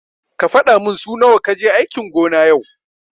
Ka fadamin su nawa kaje aikin gona yau.